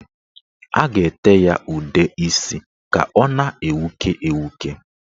A ga-ete ya udeisi ka ọ na-enwuke enwuke.